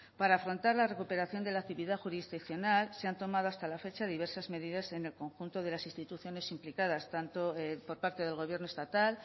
para afrontar la recuperación de la actividad jurisdiccional se han tomado hasta la fecha diversas medidas en el conjunto de las instituciones implicadas tanto por parte del gobierno estatal